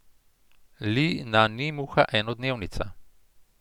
Li Na ni muha enodnevnica.